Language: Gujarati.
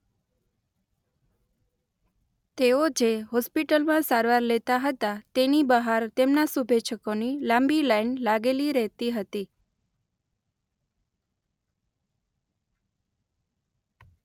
તેઓ જે હોસ્પિટલમાં સારવાર લેતા હતા તેની બહાર તેમના શુભેચ્છકોની લાંબી લાઈન લાગેલી રહેતી હતી.